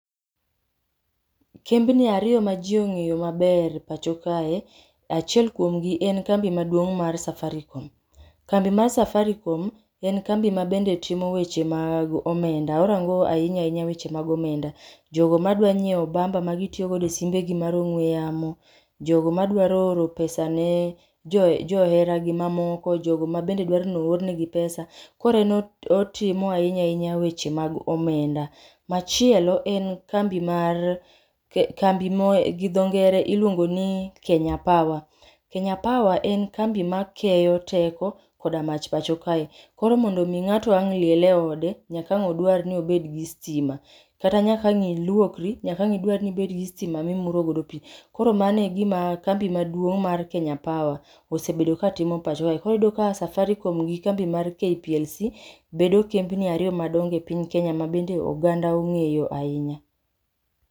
Kembni ariyo ma jii ong'eyo maber e pacho kae, achiel kuomgi en kambi maduong' mar Safaricom. Kambi mar Safaricom, en kambi ma bende timo weche mag omenda. Orango ahinya ahinya weche mag omenda, jogo madwa nyiew bamba magitiyo godo e simbegi mar ong'we yamo, jogo madwaro oro pesa ne jo johera negi mamoko, jogo mabende dwaro noor negi pesa. Koro en otimo ahinya ahinya weche mag omenda. Machielo en kambi mar kambi mo gi dho ngere iluongo ni Kenya Power. Kenya Power en kambi ma keyo teko koda mach pacho kae. Koro mondo mi ng'ato ang' liel e ode, nyaka ang' odwar ni obed gi stima. Kata nyaka ang' iluokri, nyaka ang' idwar ni ibed gi stima mimuro godo pii. Koro mabo e gima kambi maduong' mar Kenya Power osebedo katimo pacho ka. Koro iyudo ka Safaricom gi kambi mar KPLC, bedo kembni ariyo madongo e piny Kenya ma bende oganda ong'eyo ainya